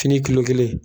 Fini kilo kelen